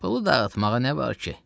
Pulu dağıtmağa nə var ki?